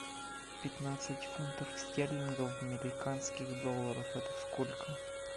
пятнадцать фунтов стерлингов в американских долларах это сколько